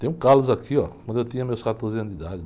Tenho calos aqui, ó, de quando eu tinha meus quatorze anos de idade.